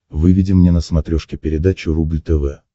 выведи мне на смотрешке передачу рубль тв